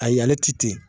Ayi ale ti ten